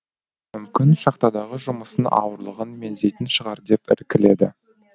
мүмкін шахтадағы жұмыстың ауырлығын меңзейтін шығар деп іркіледі